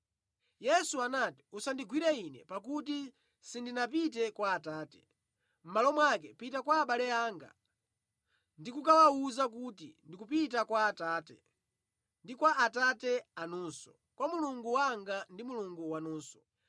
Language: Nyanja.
Yesu anati, “Usandigwire Ine, pakuti sindinapite kwa Atate. Mʼmalo mwake pita kwa abale anga ndikukawawuza kuti, ndikupita kwa Atate ndi kwa Atate anunso, kwa Mulungu wanga ndi Mulungu wanunso.”